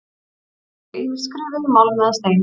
Voru þau ýmist skrifuð í málm eða stein.